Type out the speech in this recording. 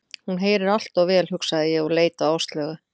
Hún heyrir allt of vel, hugsaði ég og leit á Áslaugu.